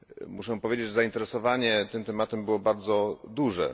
Muszę powiedzieć, że zainteresowanie tym tematem było bardzo duże.